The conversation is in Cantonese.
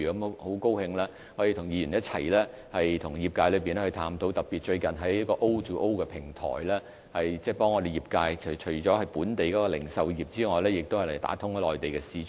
我很高興可以與議員一起和業界探討，特別最近在 O2O 的平台上，政府正協助本地的業界，包括本地的零售業，打通內地市場。